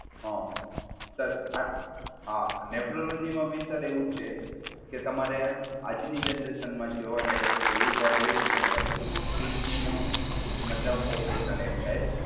હા, સર આ આ નેફ્રોલોજી માં બી સર એવું જ છે કે તમારે આજ ની જનરેશનમાં જોવા જાય તો એ વર્ડ એવું યુજ થાય, કિડની નું મતલબ ઓપરેશન એક ટાઈપ.